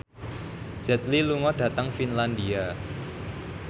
Jet Li lunga dhateng Finlandia